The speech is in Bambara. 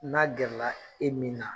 N'a gɛrɛla e min na